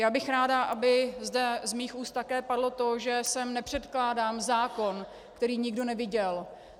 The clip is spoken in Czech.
Já bych ráda, aby zde z mých úst také padlo to, že sem nepředkládám zákon, který nikdo neviděl.